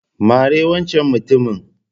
Mari wancen mutumin.